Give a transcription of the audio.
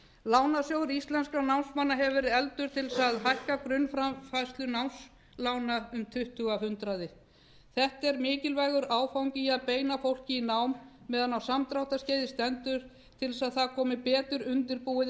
lánasjóður íslenskra námsmanna hefur verið efldur til þess að hækka grunnframfærslu námslána um tuttugu af hundraði þetta er mikilvægur áfangi í að beina fólki í nám meðan á samdráttarskeiði stendur til þess að það komi betur undirbúið